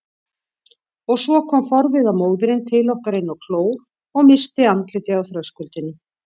Og svo kom forviða móðirin til okkar inn á kló og missti andlitið á þröskuldinum.